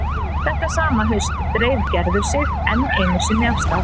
Þetta sama haust dreif Gerður sig enn einu sinni af stað.